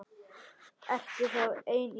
Ertu þá ein í bænum?